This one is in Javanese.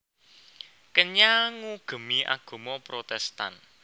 Kenya ngugemi agama Protestan